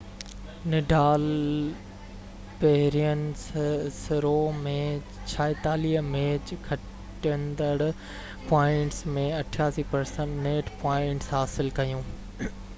Nadal پهرين سرو ۾ 76 match کٽندڙ پوائنٽس ۾ 88% نيٽ پوائنٽس حاصل ڪيون